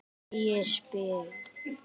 Ægisbyggð